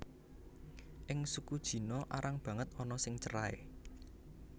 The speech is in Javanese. Ing suku Jino arang banget ana sing cerai